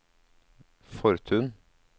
Fortun